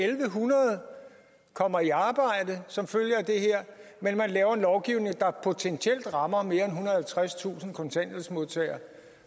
hundrede kommer i arbejde som følge af det men man laver en lovgivning der potentielt rammer mere end og halvtredstusind kontanthjælpsmodtagere